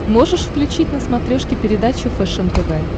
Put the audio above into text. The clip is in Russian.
можешь включить на смотрешке передачу фэшен тв